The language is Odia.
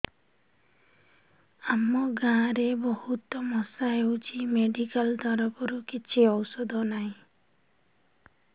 ଆମ ଗାଁ ରେ ବହୁତ ମଶା ହଉଚି ମେଡିକାଲ ତରଫରୁ କିଛି ଔଷଧ ନାହିଁ